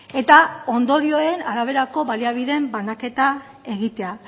eta ondorioen araberako baliabideen banaketa egitea